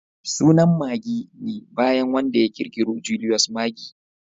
Sunan Maggi ne bayan wanda ya kirkiro Julius Maggi